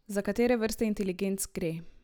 Za katere vrste inteligenc gre?